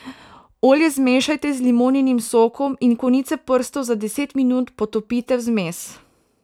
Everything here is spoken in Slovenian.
Olje zmešajte z limoninim sokom in konice prstov za deset minut potopite v zmes.